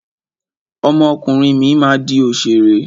Ọmọ ọkùnrin mi máa di òṣèré.